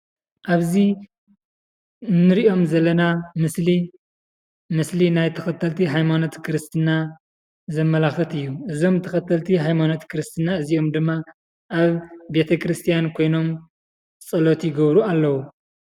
ኣብዚ እንሪኦም ዘለና ምስሊ፡ ምስሊ ናይ ተኸተልቲ ሃይማኖት ክርስትና ዘመላኽት እዩ፡፡ እዞም ተኸልቲ ሃይማኖት ክርስትና እዚኦም ድማ ኣብ ቤተ-ክርስትያን ኮይኖም ፀሎት ይገብሩ ኣለው፡፡